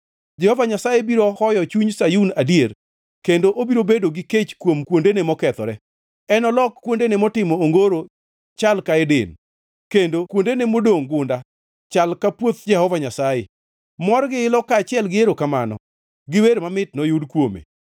Jehova Nyasaye biro hoyo chuny Sayun adier; kendo obiro bedo gi kech kuom kuondene mokethore; enolok kuondene motimo ongoro chal ka Eden, kendo kuondene modongʼ gunda chal ka puoth Jehova Nyasaye. Mor gi ilo kaachiel gi erokamano gi wer mamit noyud kuome.